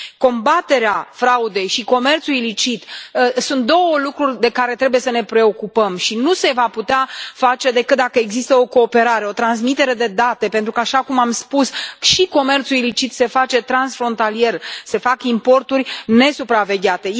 Combaterea fraudei și comerțul ilicit sunt două lucruri de care trebuie să ne preocupăm și nu se vor putea face decât dacă există o cooperare, o transmitere de date pentru că, așa cum am spus, și comerțul ilicit se face transfrontalier, se fac importuri nesupravegheate.